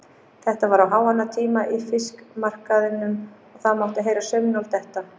Þetta var á háannatíma í fiskmarkaðinum og það mátti heyra saumnál detta.